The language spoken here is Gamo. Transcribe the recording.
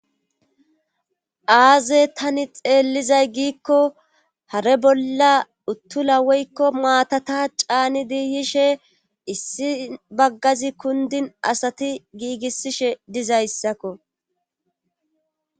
aaze tani xeellizay giikko hare bolla uttula woykko maatata caani diiyishe issi baggazi kundin asati giigissishe dizayssakko